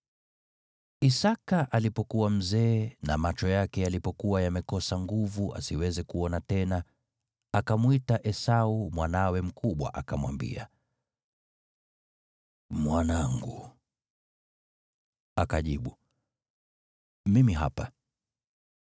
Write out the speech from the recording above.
Isaki alipokuwa mzee na macho yake yalipokuwa yamekosa nguvu asiweze kuona tena, akamwita Esau mwanawe mkubwa, akamwambia, “Mwanangu.” Akajibu, “Mimi hapa.”